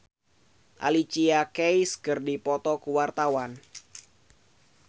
Judika Sitohang jeung Alicia Keys keur dipoto ku wartawan